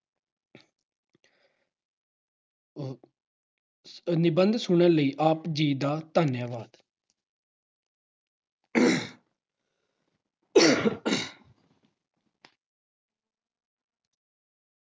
ਆਹ ਨਿਬੰਧ ਸੁਣਨ ਲਈ ਆਪ ਜੀ ਦਾ ਧੰਨਵਾਦ। ਆਹ ਆਹ